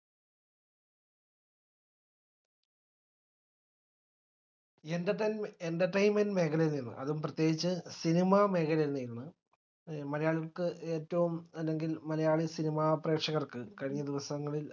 entertainmen entertainment മേഖലയിൽ നിന്ന് അതും പ്രത്യേകിച്ചു cinema മേഖലയിൽ നിന്ന് മലയാളികൾക്ക് ഏറ്റവും അല്ലെങ്കിൽ മലയാളി cinema പ്രേക്ഷകർക്ക് കഴിഞ്ഞ ദിവസ്സങ്ങളിൽ